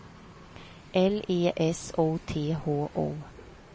L E S O T H O